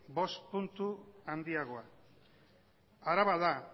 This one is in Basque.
bost puntu handiagoa araba da